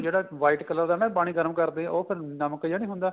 ਜਿਹੜਾ white color ਦਾ ਨਾ ਪਾਣੀ ਗਰਮ ਕਰਦੇ ਆ ਉਹ ਫੇਰ ਨਮਕ ਜਿਹਾ ਨਹੀਂ ਹੁੰਦਾ